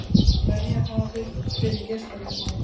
Verja hafið fyrir geislavirkni